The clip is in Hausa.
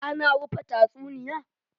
ana rufe tatsuniya?